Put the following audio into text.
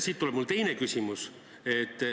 Siit tuleneb mu teine küsimus.